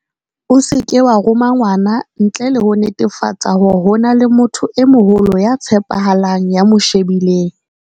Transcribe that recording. O seke wa roma ngwana ntle le ho netefatsa hore ho na le motho e moholo ya tshepahalang ya mo shebileng.